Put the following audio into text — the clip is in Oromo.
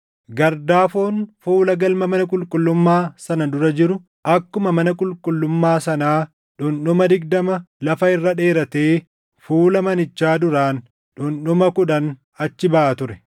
Gardaafoon fuula galma mana qulqullummaa sana dura jiru akkuma mana qulqullummaa sanaa dhundhuma digdama lafa irra dheeratee fuula manichaa duraan dhundhuma kudhan achi baʼa ture.